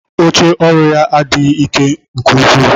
Oche ọrụ ya adịghị ike nke ukwuu